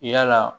Yala